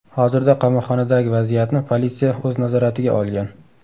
Hozirda qamoqxonadagi vaziyatni politsiya o‘z nazoratiga olgan.